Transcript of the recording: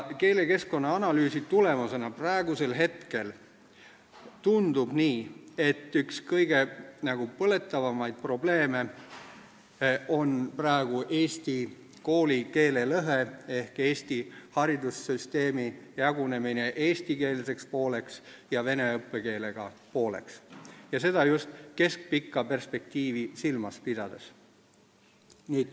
Keelekeskkonna analüüsi tulemusena tundub praegu nii, et üks põletavamaid probleeme on eesti koolikeele lõhe ehk Eesti haridussüsteemi jagunemine eestikeelseks pooleks ja vene õppekeelega pooleks, seda just keskpikka perspektiivi silmas pidades.